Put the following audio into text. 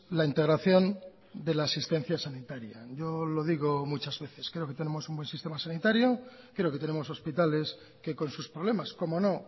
la integración de la asistencia sanitaria yo lo digo muchas veces creo que tenemos un buen sistema sanitario creo que tenemos hospitales que con sus problemas cómo no